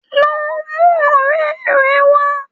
Lọ mú ọ̀rẹ́ rẹ wa